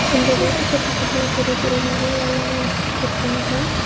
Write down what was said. இந்த வீட்டுக்கு பக்கத்துல பெரிய பெரிய மரங்கள் எல்லா வளத்து வச்சிருக்காங்க.